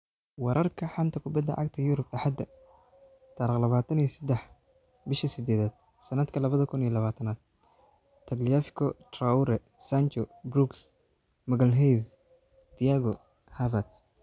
Wararka xanta kubada cagta Yurub Axada tariq labatan iyo sedax bisha sidedad sanadka labada kun iyo labatanaad: Tagliafico, Traore, Sancho, Brooks, Magalhaes, Thiago, Havertz